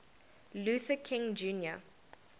luther king jr